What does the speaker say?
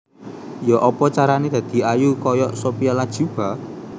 Yo'opo carane dadi ayu koyok Sophia Latjuba?